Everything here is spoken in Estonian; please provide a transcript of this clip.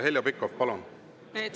Heljo Pikhof, palun!